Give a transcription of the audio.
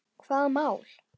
Hvaða mál?